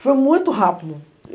Foi muito rápido.